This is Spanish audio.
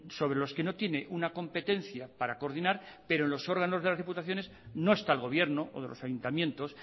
sobre los que no tiene una competencia para coordinar pero en los órganos de las diputaciones no está el gobierno o de los ayuntamientos